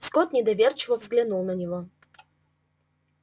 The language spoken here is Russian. скотт недоверчиво взглянул на него